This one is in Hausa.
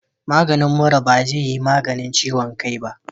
Maganin mura bazeyi maganin ciwon kai ba